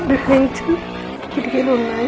కిటికీలు ఉన్నాయి.